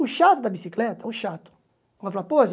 O chato da bicicleta, o chato.